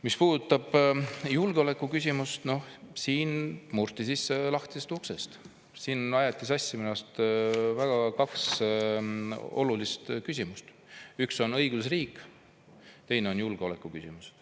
Mis puudutab julgeolekuküsimust, siis siin murti sisse lahtisest uksest, aeti sassi minu arust kaks väga olulist küsimust: üks on õigusriik, teine on julgeolekuküsimus.